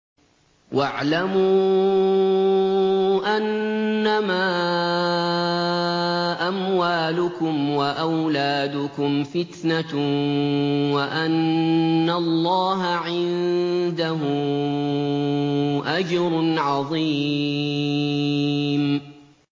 وَاعْلَمُوا أَنَّمَا أَمْوَالُكُمْ وَأَوْلَادُكُمْ فِتْنَةٌ وَأَنَّ اللَّهَ عِندَهُ أَجْرٌ عَظِيمٌ